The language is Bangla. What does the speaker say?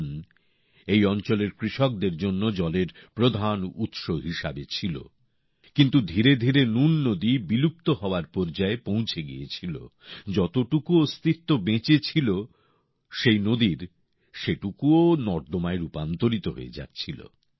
নুন এই অঞ্চলের কৃষকদের জন্য জলের প্রধান উৎস হিসেবে ছিল কিন্তু ধীরে ধীরে নুন নদী বিলুপ্ত হওয়ার পর্যায়ে পৌঁছে গিয়েছিল যতটুকু অস্তিত্ব বেঁচে ছিল ওই নদীর সেটুকুও নর্দমাইয় রূপান্তরিত হয়ে যাচ্ছিল